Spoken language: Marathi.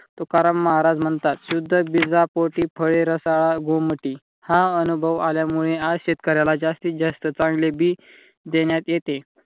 तुकाराम महाराज म्हणतात शुद्ध बीजा पोटी फळे रसाळ गोमटी हा अनुभव आल्यामुळे आज शेतकऱ्याला जास्तीत जास्त चांगले बी देण्यात येते.